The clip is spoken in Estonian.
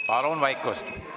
Palun vaikust!